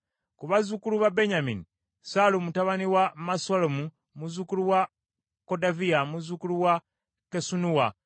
Ku bazzukulu ba Benyamini, Sallu mutabani wa Mesullamu, muzzukulu wa Kodaviya, muzzukulu wa Kassenuwa,